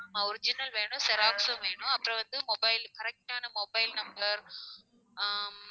ஆஹ் original வேணும் xerox ம் வேணும் அப்புறம் வந்து mobile correct ஆன mobile number ஹம்